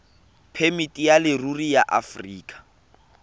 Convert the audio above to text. phemiti ya leruri ya aforika